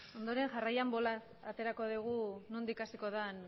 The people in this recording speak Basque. ondoren jarraian bolaz aterako dugu nondik hasiko den